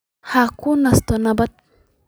Ha ku nasto nabad.